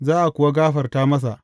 Za a kuwa gafarta masa.